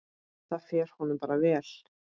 Það fer honum bara vel.